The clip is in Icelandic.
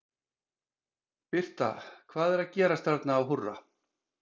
Birta, hvað er að gerast þarna á Húrra?